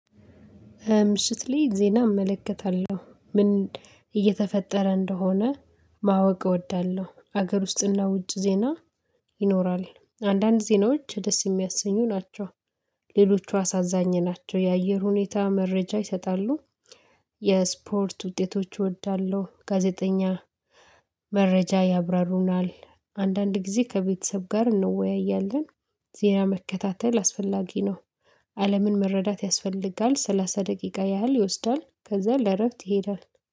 ምሽት ላይ ዜና እመለከታለሁ ምን እየተፈጠረ እንደሆነ ማወቅ እወዳለሁ። ሀገር ውስጥና ውጭ ዜና ይኖራል። አንዳንድ ዜናዎች ደስ የሚያሰኙ ናቸው፣ ሌሎቹ አሳዛኝ ናቸው የአየር ሁኔታ መረጃ ይሰጣሉ። የስፖርት ውጤቶች እወዳለሁ ጋዜጠኛ መረጃ ያብራሩናል አንዳንድ ጊዜ ከቤተሰብ ጋር እንወያያለን ዜና መከታተል አስፈላጊ ነው አለምን መረዳት ያስፈልጋል ሰላሳ ደቂቃ ያህል ይወስዳል ከዛ ለእረፍት ይሄዳል